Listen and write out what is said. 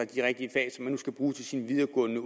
de rigtige fag som man nu skal bruge til sin videregående